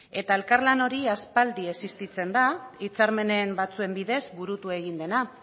elkarlan hori aspaldi existitzen da hitzarmen batzuen bidez burutu egin dena